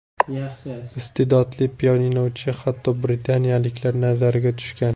Iste’dodli pianinochi hatto britaniyaliklar nazariga tushgan.